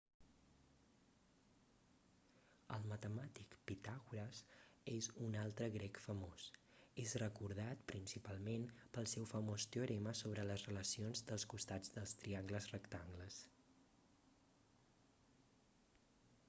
el matemàtic pitàgores és un altre grec famós es recordat principalment pel seu famós teorema sobre les relacions dels costats dels triangles rectangles